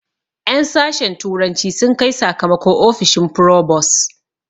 En sashen turanci sun kai sakamako ofishin frobos